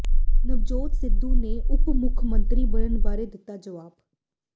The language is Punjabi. ਨਵਜੋਤ ਸਿੱਧੂ ਦੇ ਉਪ ਮੁੱਖ ਮੰਤਰੀ ਬਣਨ ਬਾਰੇ ਦਿੱਤਾ ਜਵਾਬ